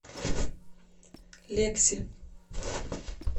лекси